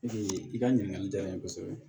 i ka ɲininkali diyara n ye kosɛbɛ